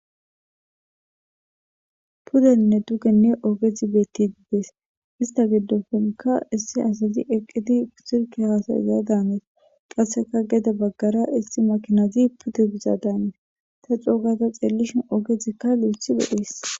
pudenne dugenne ogezi beettidi dees ista giddofonka issi asati eqqiti silikeya haasayzaya daanesa qasseka geda baggara isti makinaazi pude biza daameeta ta xoogata xeellishin ogetikka liethi lo7ees